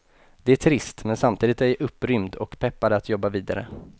Det är trist, men samtidigt är jag upprymd och peppad att jobba vidare.